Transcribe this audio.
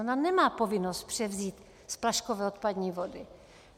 Ona nemá povinnost převzít splaškové odpadní vody.